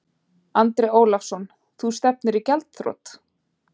Andri Ólafsson: Þú stefnir í gjaldþrot?